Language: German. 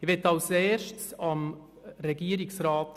Ich möchte zuerst Regierungsrat